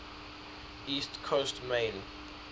east coast maine